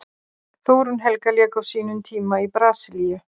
Þórunn Helga lék á sínum tíma í Brasilíu.